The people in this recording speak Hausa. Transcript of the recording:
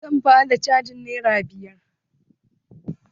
Zan ba da cajin nera biyar.